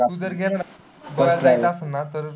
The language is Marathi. तू जर गेला ना पुन्हा जायचं असेल ना?